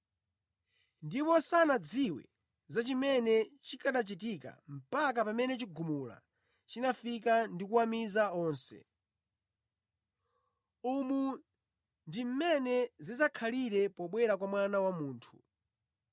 ndipo sanadziwe za chimene chikanachitika mpaka pamene chigumula chinafika ndi kuwamiza onse. Umu ndi mmene zidzakhalira pobwera kwa Mwana wa Munthu.